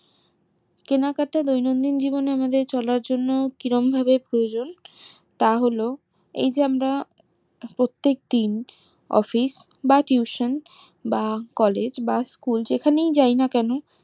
কেনাকাটার দৈনন্দিন জীবনে আমাদের চলার জন্য কিরাম ভাবে প্রয়োজন তা হলো এই যে আমরা প্রত্যেক দিন office বা tuition বা college বা school যেখানেই যাই না কেন